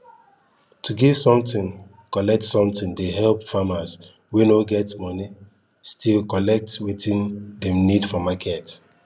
to give something collect something dey help farmers wey no get moni still collect wetin dem need for market